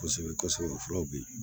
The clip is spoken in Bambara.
Kosɛbɛ kosɛbɛ fulaw bi ye